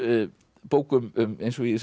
bók um eins og ég segi